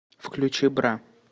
включи бра